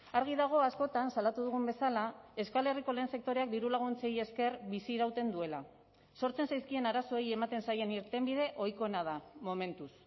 argi dago askotan salatu dugun bezala euskal herriko lehen sektoreak dirulaguntzei esker bizirauten duela sortzen zaizkien arazoei ematen zaien irtenbide ohikoena da momentuz